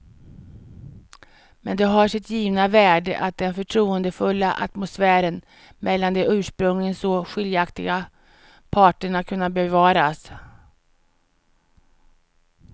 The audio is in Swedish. Men det har sitt givna värde att den förtroendefulla atmosfären mellan de ursprungligen så skiljaktiga parterna kunnat bevaras.